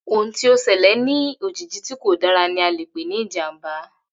Ohun tí o selè ní òjijì tí kò dára ni a le pè ní ìjàmbá